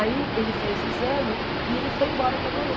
Aí ele fez o exame e ele foi embora para Goiânia.